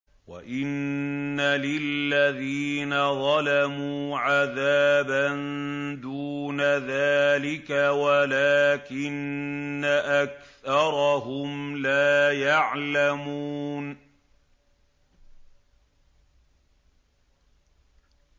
وَإِنَّ لِلَّذِينَ ظَلَمُوا عَذَابًا دُونَ ذَٰلِكَ وَلَٰكِنَّ أَكْثَرَهُمْ لَا يَعْلَمُونَ